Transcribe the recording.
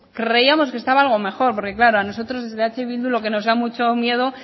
creíamos que estaba algo mejor porque claro a nosotros desde eh bildu lo que nos da mucho miedo